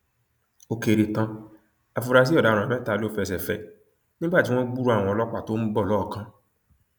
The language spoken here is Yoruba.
ó kéré tán àfúrásì ọdaràn mẹta ló fẹsẹ fẹ ẹ nígbà tí wọn gbúròó àwọn ọlọpàá tó ń bọ lọọọkán